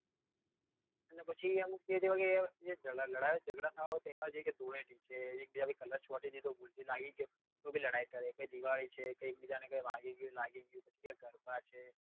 અને પછી અમુક એવા કે લડાઈ ઝગડા થવા વાળો તહેવાર છે ધૂળેટી છે એક બીજા પર કલર છાંટી દીધો ભૂલ થી લાગી ગયો તો બી લડાઈ કરે કે દિવાળી છે કે એક બીજા ને લાગી ગયું કે વાગી ગયું કે પવ્હી આં ગરબા છે